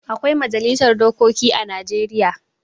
Akwai majalisar dokoki a Najeriya.